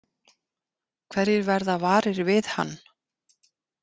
Hverjir verða varir við hann?